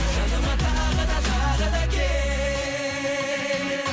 жаныма тағы да тағы да кел